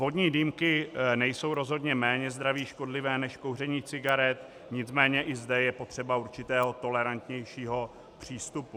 Vodní dýmky nejsou rozhodně méně zdraví škodlivé než kouření cigaret, nicméně i zde je potřeba určitého tolerantnějšího přístupu.